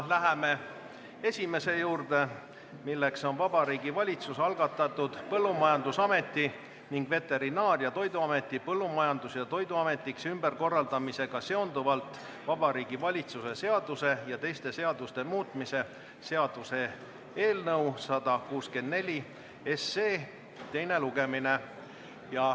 Läheme esimese juurde, milleks on Vabariigi Valitsuse algatatud Põllumajandusameti ning Veterinaar- ja Toiduameti Põllumajandus- ja Toiduametiks ümberkorraldamisega seonduvalt Vabariigi Valitsuse seaduse ja teiste seaduste muutmise seaduse eelnõu 164 teine lugemine.